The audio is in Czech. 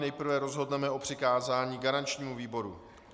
Nejprve rozhodneme o přikázání garančnímu výboru.